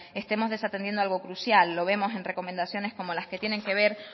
estemos desatendiendo algo crucial lo vemos en recomendaciones como las que tienen que ver